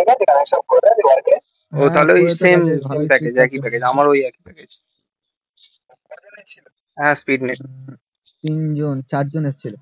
একটা প্লেট চার জন এসেছিলো